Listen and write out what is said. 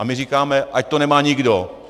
A my říkáme - ať to nemá nikdo!